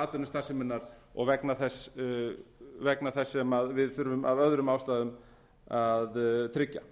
atvinnustarfseminnar og vegna þess sem við þurfum af öðrum ástæðum að tryggja